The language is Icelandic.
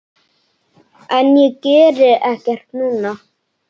En ég geri ekkert núna.